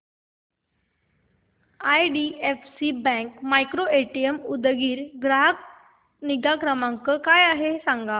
IDFC bank micro ATM Udgir चा ग्राहक निगा क्रमांक काय आहे सांगा